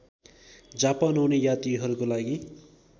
Japan आउने यात्रीहरूको लागि